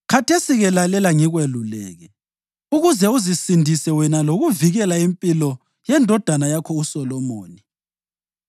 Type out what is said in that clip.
Khathesi-ke lalela ngikweluleke, ukuze uzisindise wena lokuvikela impilo yendodana yakho uSolomoni.